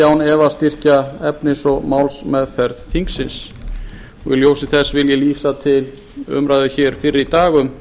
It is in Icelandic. án efa styrkja efnis og málsmeðferð þingsins í ljósi þess vil ég vísa til umræðu hér fyrr í dag um